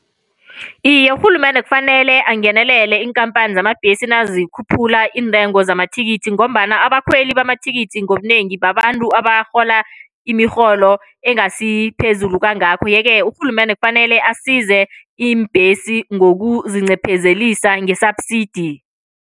Iye, urhulumende kufanele angenelele iinkhamphani zeembhesi nazikhuphula iintengo zamathikithi, ngombana abakhweli bamathikithi ngobunengi babantu abarhola imirholo engasiphezulu kangako. Yeke urhulumende kufanele asize iimbhesi ngokuzincephezelisa nge-subsidy.